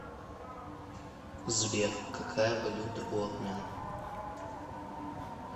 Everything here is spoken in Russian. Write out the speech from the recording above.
сбер какая валюта у армян